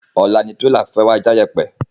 Ọ̀la ni Tírélà fẹ́ wa já iyèpè